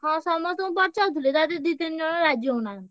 ହଁ ସମସ୍ତଙ୍କୁ ପଚାରୁଥିଲି ତା ଧିଅରୁ ଦି ତିନି ଜଣ ରାଜି ହଉନାହାନ୍ତି।